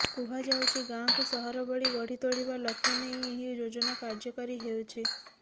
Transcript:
କୁହାଯାଉଛି ଗାଁକୁ ସହର ଭଳି ଗଢି ତୋଳିବା ଲକ୍ଷ୍ୟ ନେଇ ଏହି ଯୋଜନା କାର୍ଯ୍ୟକାରୀ ହେଉଛି